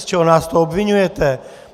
Z čeho nás to obviňujete?